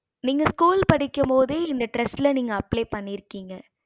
நீங்க school படிக்கும்போது இந்த trast நீங்க apply பன்னிருகிங்க